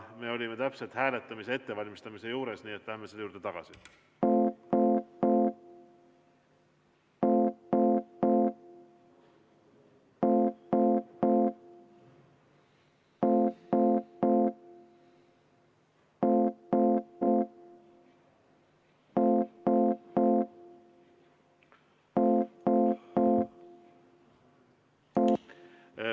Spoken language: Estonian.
Me olime täpselt hääletamise ettevalmistamise juures, nii et läheme selle juurde tagasi.